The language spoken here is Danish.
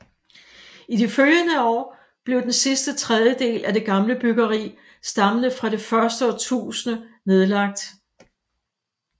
I de følgende år blev den sidste tredjedel af det gamle byggeri stammende fra det første årtusinde nedlagt